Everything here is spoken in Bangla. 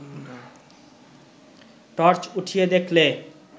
টর্চ উঠিয়ে দেখলে